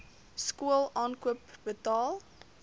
skool aankoop betaal